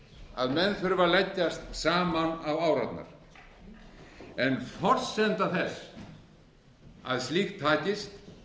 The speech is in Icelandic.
að menn þurfa að leggjast saman á árarnar en forsenda þess að slíkt takist